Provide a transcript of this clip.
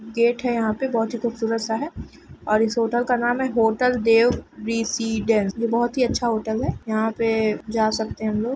Gate है यहाँ पे बहुत ही खुबसूरत-सा है और इस होटल का नाम है होटल देव रेसिडेन्स यह बहुत ही अच्छा होटल है। यहाँ पे जा सकते है हम लोग।